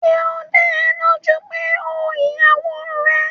Ṣé ó dá ẹ lójú pé ó ìyàwó rẹ̀?